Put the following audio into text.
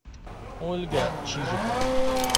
ольга чижикова